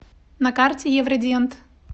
на карте евродент